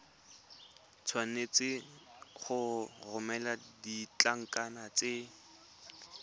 tshwanetse go romela ditlankana tse